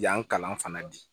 Yan kalan fana di